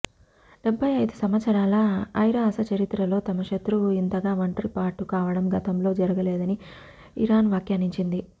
డెబ్బయి అయిదు సంవత్సరాల ఐరాస చరిత్రలో తమ శత్రువు ఇంతగా ఒంటరి పాటు కావటం గతంలో జరగలేదని ఇరాన్ వ్యాఖ్యానించింది